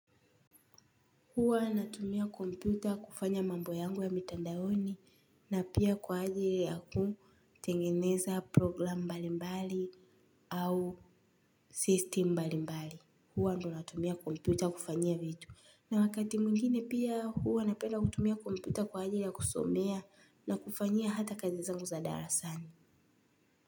Huwa natumia kompyuta kufanya mambo yangu ya mitandaoni na pia kwa ajili ya kutengeneza program mbali mbali au system mbali mbali. Huwa ndo natumia kompyuta kufanyia vitu. Na wakati mwingine pia huwa napenda kutumia kompyuta kwa ajili ya kusomea na kufanyia hata kazi zangu za darasani.